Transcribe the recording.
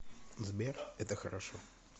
сбер это хорошо